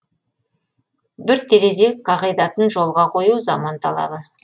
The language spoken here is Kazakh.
бір терезе қағидатын жолға қою заман талабы